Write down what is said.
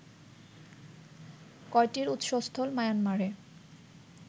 কয়টির উৎসস্থল মায়ানমারে